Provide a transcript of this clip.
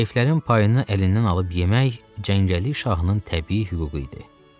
Zəiflərin payını əlindən alıb yemək cəngəlli Şahının təbii hüququ idi.